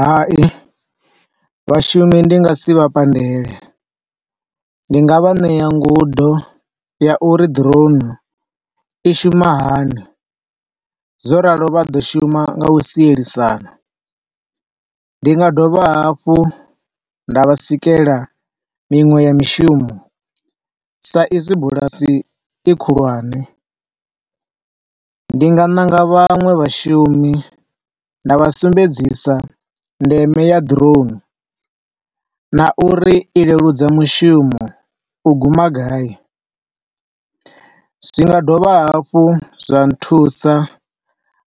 Hai, vhashumi ndi nga si vha pandele, ndi nga vha ṋea ngudo ya uri drone i shuma hani zwo ralo vha ḓo shuma nga u sielisana. Ndi nga dovha hafhu nda vha sikela miṅwe ya mishumo sa izwi bulasi i khulwane, ndi nga ṋanga vhaṅwe vhashumi nda vha sumbedzisa ndeme ya drone na uri i leludza mushumo u guma gai. Zwi nga dovha hafhu zwa nthusa